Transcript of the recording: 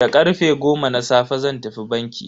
Da karfe goma na safe zan tafi banki.